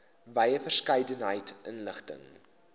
wye verskeidenheid inligting